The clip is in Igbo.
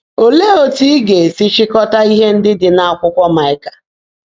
Óleé ótú ị́ gá-èsi chị́kọ́tá íhe ndị́ ḍị́ n’ákwụ́kwọ́ Máịkà?